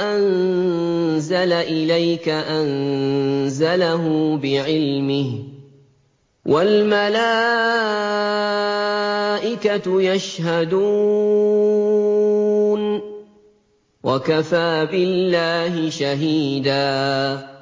أَنزَلَ إِلَيْكَ ۖ أَنزَلَهُ بِعِلْمِهِ ۖ وَالْمَلَائِكَةُ يَشْهَدُونَ ۚ وَكَفَىٰ بِاللَّهِ شَهِيدًا